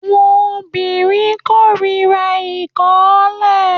Áwọn obìnrin kórira ìkọlà